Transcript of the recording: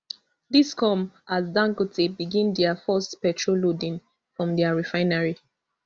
dis come as dangote begin dia first petrol loading from dia refinery